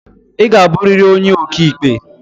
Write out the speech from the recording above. I ga abụrịrị onye okiikpe!